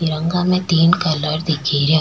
तिरंगा में तीन कलर दिख रिया।